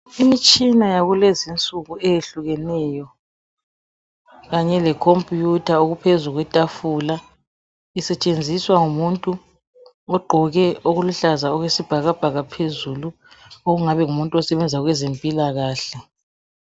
imitshina yakulezinsuku eyehlukeneyo kanye le computer okuphezu kwetafula isetshenziswa ngumuntu ogqoke okuluhlaza okwesibhakabhaka phezulu okungabe ngumuntu osebenza kwezempilakahle